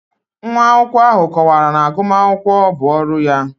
Nwa akwụkwọ ahụ kọwara na agụmakwụkwọ bụ ọrụ ya